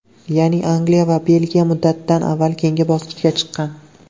Ya’ni, Angliya va Belgiya muddatidan avval keyingi bosqichga chiqqan.